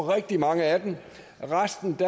rigtig mange af dem for restens